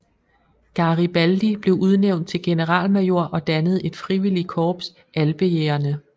Garibaldi blev udnævnt til generalmajor og dannede et frivillig korps Alpejægerne